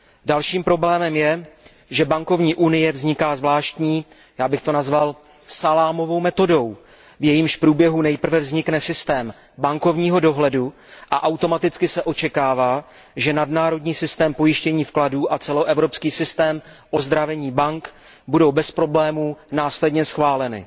Dalším problémem je, že bankovní unie vzniká zvláštní, já bych to nazval salámovou metodou, v jejímž průběhu nejprve vznikne systém bankovního dohledu, a automaticky se očekává, že nadnárodní systém pojištění vkladů a celoevropský systém ozdravení bank budou bez problému následně schváleny.